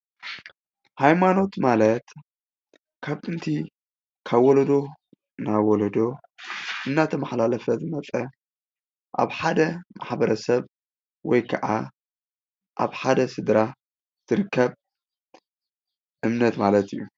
ሃይማኖት ማለት ካብ ጥንቲ ካብ ወለዶ ናብ ወለዶ እናተመሓላለፈ ዝመፀ ኣብ ሓደ ማሕበረሰብ ወይከዓ ኣብ ሓደ ስድራ ዝርከብ እምነት ማለት እዩ፡፡